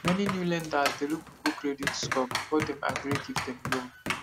many new lenders dey look people credit score before dem agree give dem loan